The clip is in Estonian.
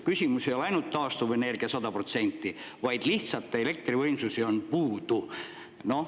Küsimus ei ole ainult selles, et taastuvenergia peaks olema 100%, vaid lihtsalt elektrivõimsusi on puudu.